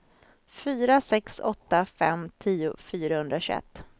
fyra sex åtta fem tio fyrahundratjugoett